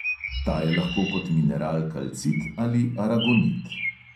Ta je lahko kot mineral kalcit in aragonit.